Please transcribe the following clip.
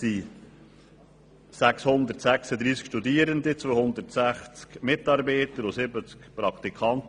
Es gibt 636 Studierende, 260 Mitarbeiter und 70 Praktikanten.